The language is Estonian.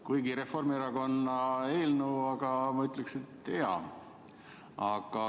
Kuigi Reformierakonna eelnõu, ma siiski ütleksin, et hea.